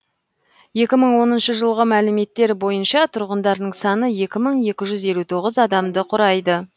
екі мың оныншы жылғы мәліметтер бойынша тұрғындарының саны екі мың екі жүз елу тоғыз адамды құрайды